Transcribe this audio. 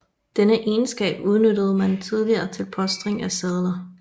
Denne egenskab udnyttede man tidligere til polstring af sadler